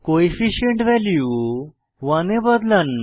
coefficient value 1 এ বদলান